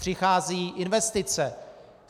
Přicházejí investice.